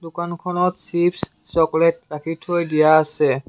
দোকানখনত chips chocolate ৰাখি থৈ দিয়া আছে।